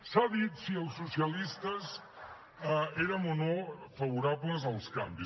s’ha dit si els socialistes érem o no favorables als canvis